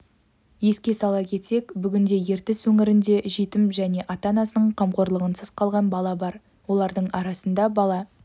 еске сала кетсек бүгінде ертіс өңірінде жетім және ата-анасының қамқорлығынсыз қалған бала бар олардың арасында бала